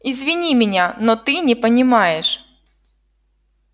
извини меня но ты не понимаешь